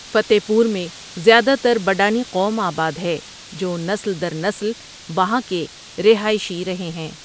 فتع پور میں زیادہ تربڈانی قوم آبادہے جونسل درنسل وہاں کے رہائشی رہے ہیں۔